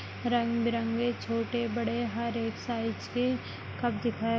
रंग बिरंगे छोटे बड़े हर एक साईज के कप दिखाय --